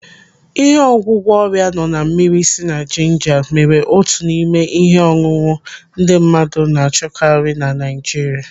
Ịhe ọgwụgwọ ọrịa nọ na mmiri sị na jinja mere otu n'ime ihe ọṅụṅụ ndị mmadụ na-achọkari na Naijiria.